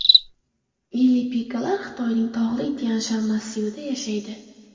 Ili Pika’lar Xitoyning tog‘li Tyanshan massivida yashaydi.